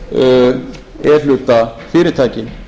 um e hluta fyrirtækin